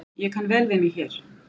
Ég kann vel við mig hér